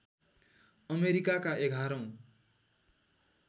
अमेरिकाका एघारौँ